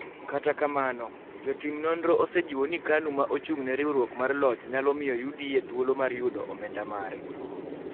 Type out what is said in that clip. Kata kamano, jotim nonro osejiwo ni Kanu ma ochung� ne riwruok mar Loch nyalo miyo UDA thuolo mar yudo omenda mare.